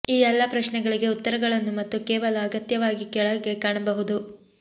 ಈ ಎಲ್ಲಾ ಪ್ರಶ್ನೆಗಳಿಗೆ ಉತ್ತರಗಳನ್ನು ಮತ್ತು ಕೇವಲ ಅಗತ್ಯವಾಗಿ ಕೆಳಗೆ ಕಾಣಬಹುದು